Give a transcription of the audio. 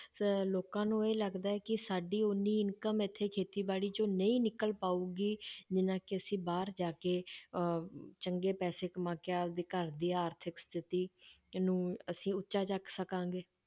ਅਹ ਲੋਕਾਂ ਨੂੰ ਇਹ ਲੱਗਦਾ ਹੈ ਕਿ ਸਾਡੀ ਓਨੀ income ਇੱਥੇ ਖੇਤੀਬਾੜੀ 'ਚ ਨਹੀਂ ਨਿਕਲ ਪਾਊਗੀ ਜਿੰਨਾ ਕਿ ਅਸੀਂ ਬਾਹਰ ਜਾ ਕੇ ਅਹ ਚੰਗੇ ਪੈਸੇ ਕਮਾ ਕੇ ਆਪਦੇ ਘਰ ਦੀ ਆਰਥਿਕ ਸਥਿਤੀ, ਇਹਨੂੰ ਅਸੀਂ ਉੱਚਾ ਚੁੱਕ ਸਕਾਂਗੇ,